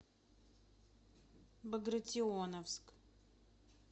багратионовск